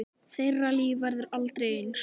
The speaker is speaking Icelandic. Þeirra líf verður aldrei eins.